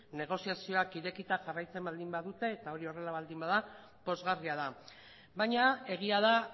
negoziazioak irekita jarraitzen badute eta hori horrela baldin bada pozgarria da baina egia da